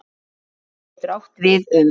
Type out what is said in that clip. Róða getur átt við um